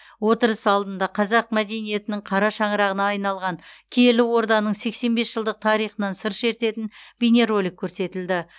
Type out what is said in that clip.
отырыс алдында қазақ мәдениетінің қара шаңырағына айналған киелі орданың сексен бес жылдық тарихынан сыр шертетін бейнеролик көрсетілді